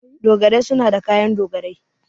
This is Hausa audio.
Dogarai suna da kayan dogarai.